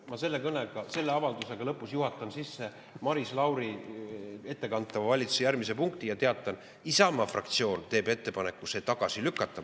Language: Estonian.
Ma selle kõnega, selle avaldusega lõpus juhatan sisse Maris Lauri ettekantava valitsuse järgmise ja teatan: Isamaa fraktsioon teeb ettepaneku see tagasi lükata.